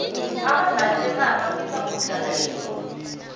abadlali bekhaya bafisa ukudlala eyurop